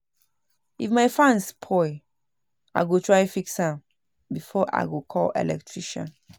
If my fan spoil, I go try fix am before I call electrician.